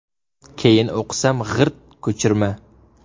Keyin o‘qisam, g‘irt ko‘chirma.